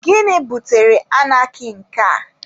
Gịnị butere anarkị nke a?